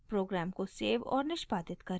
programme को save और निष्पादित करें